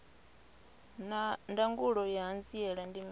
naa ndangulo ya hanziela ndi mini